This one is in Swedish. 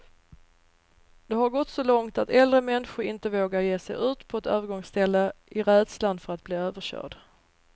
Det har gått så långt att äldre människor inte vågar ge sig ut på ett övergångsställe, i rädslan för att bli överkörd.